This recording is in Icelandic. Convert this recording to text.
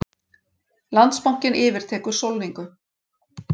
Landsbankinn yfirtekur Sólningu